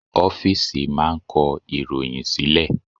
Ọ́fìsì máà ń kọ ìròhìn sílẹ̀.